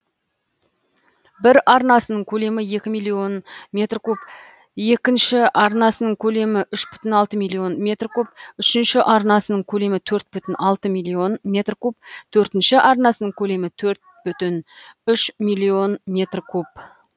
бір арнасының көлемі екі миллион метр куб екінші арнасының көлемі үш бүтін алты миллион метр куб үшінші арнасының көлемі төрт бүтін алты миллион метр куб төртінші арнасының көлемі төрт бүтін үш миллион метр куб